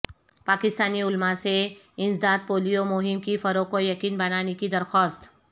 پاکستانی علما سے انسداد پولیو مہم کے فروغ کو یقینی بنانے کی درخواست